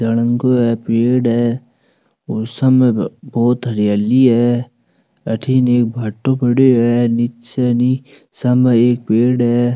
पेड़ है और सामने बहोत हरियाली है अठीने एक भाटो पड्यो है नीचे नी सामे एक पेड़ है।